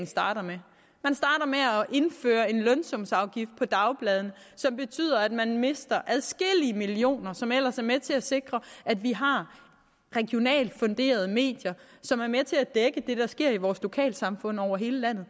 starter med at indføre en lønsumsafgift på dagbladene som betyder at man mister adskillige millioner som ellers er med til at sikre at vi har regionalt funderede medier som er med til at dække det der sker i vores lokalsamfund over hele landet